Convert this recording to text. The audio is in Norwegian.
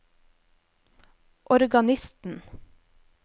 organisten